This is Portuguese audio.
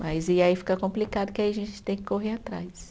Mas e aí fica complicado, que aí a gente tem que correr atrás.